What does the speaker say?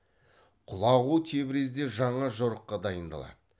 құлағу тебризде жаңа жорыққа дайындалады